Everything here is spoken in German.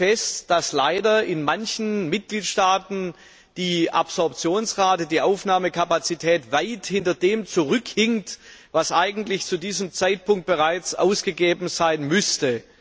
Wir stellen fest, dass leider in manchen Mitgliedstaaten die Absorptionsrate, die Aufnahmekapazität weit hinter dem zurückhinkt, was eigentlich zu diesem Zeitpunkt bereits ausgegeben sein müsste.